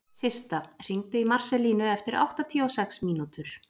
Systa, hringdu í Marselínu eftir áttatíu og sex mínútur.